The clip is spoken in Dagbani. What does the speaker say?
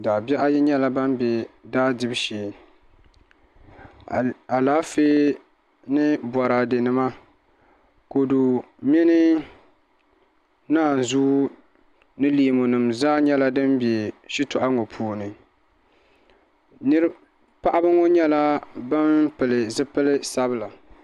Daabihi ayi nyɛla ban bɛ daa dibu shee Alaafee ni boraadɛ nima kodu mini naanzuu ni leemu nim zaa nyɛla din bɛ shitoɣu ŋo puuni paɣaba ŋo nyɛla bin pili zipili sabila